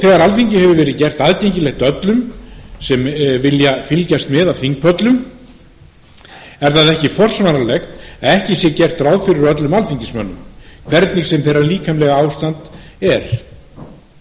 þegar alþingi hefur verið gert aðgengilegt öllum sem vilja fylgjast með af þingpöllum er það ekki forsvaranlegt að ekki sé gert ráð fyrir öllum alþingismönnum hvernig sem þeirra líkamlega ástand er hér er um